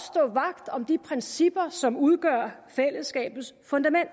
stå vagt om de principper som udgør fællesskabets fundament